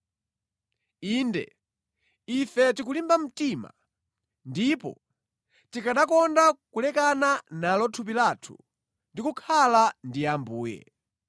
Inde, ife tikulimba mtima, ndipo tikanakonda kulekana nalo thupi lathu ndi kukhala ndi Ambuye.